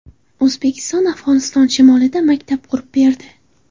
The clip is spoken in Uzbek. O‘zbekiston Afg‘oniston shimolida maktab qurib berdi .